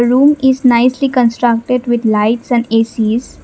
room is nicely constructed with lights and A_C_S.